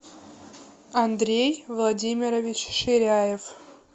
андрей владимирович ширяев